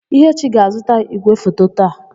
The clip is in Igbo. Ihechi ga-azụta ígwèfoto taa.